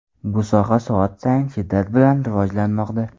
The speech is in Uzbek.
Bu soha soat sayin shiddat bilan rivojlanmoqda.